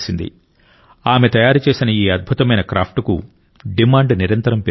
ఆమె తయారు చేసిన ఈ అద్భుతమైన క్రాఫ్ట్కు డిమాండ్ నిరంతరం పెరుగుతోంది